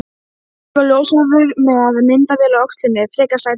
Stór og ljóshærður með myndavél á öxlinni, frekar sætur.